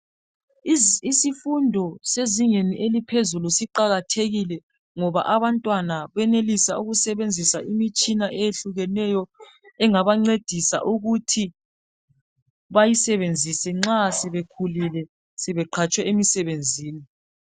Imfundo yezinga laphezulu iqakathekile ngoba abantwana beyenelisa ukuthi bayisebenzise nxa sebeqhatshwe emsebenzini